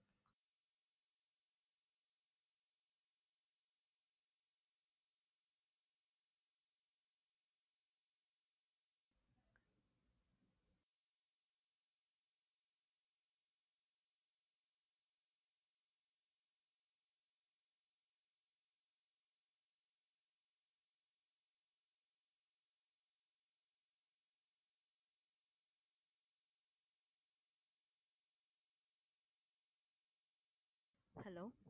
hello